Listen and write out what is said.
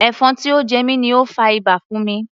Ẹ̀fọn tí ó jẹ mi ni ó fa ibà fún mi.